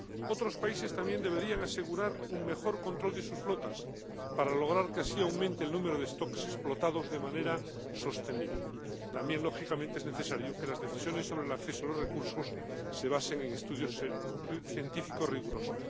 Otros países también deberían asegurar un mejor control de sus flotas para lograr que, así, aumente el número de stocks explotados de manera sostenible. También, lógicamente, es necesario que las decisiones sobre el acceso a los recursos se basen en estudios científicos rigurosos.